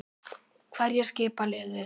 Hverjir skipa liðið?